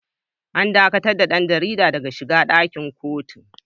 An dakatar da ɗan jaridar daga shiga ɗakin kotun.